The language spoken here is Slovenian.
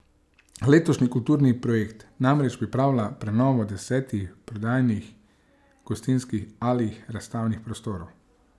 Letošnji kulturni projekt namreč pripravlja prenovo desetih prodajnih, gostinskih ali razstavnih prostorov.